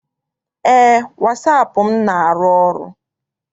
Eé, wasaapụ m na- arụ ọrụ.